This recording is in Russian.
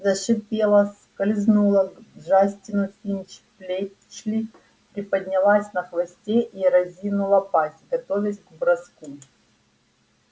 зашипела скользнула к джастину финч-флетчлй приподнялась на хвосте и разинула пасть готовясь к броску